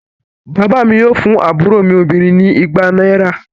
Bàbá mi yóò fún àbúrò mi obìnrin ni igba náírà.